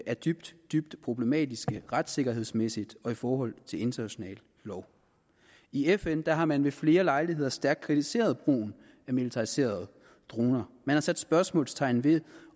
er dybt dybt problematiske retssikkerhedsmæssigt og i forhold til international lov i fn har man ved flere lejligheder stærkt kritiseret brugen af militariserede droner man har sat spørgsmålstegn ved